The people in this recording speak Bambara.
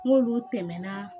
N k'olu tɛmɛna